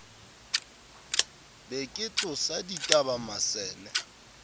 be ke tsosa dibata masene